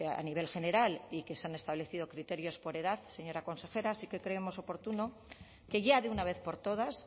a nivel general y que se han establecido criterios por edad señora consejera sí que creemos oportuno que ya de una vez por todas